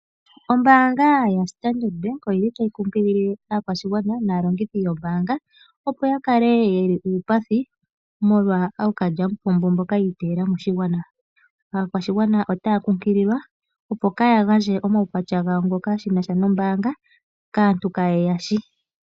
Ombaanga yaStandard bank oyili tayi lombwele aantu opo ya kale yali uupathi omolwa okalyamupombo mboka yi iteyela ,aakwashigwana otaa nkunkililwa opo kaaya gandje omaukwatya gawo shinasha kaantu mboka kayeshi.